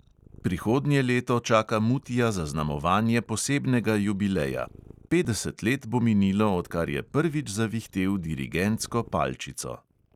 Prihodnje leto čaka mutija zaznamovanje posebnega jubileja – petdeset let bo minilo, odkar je prvič zavihtel dirigentsko palčico.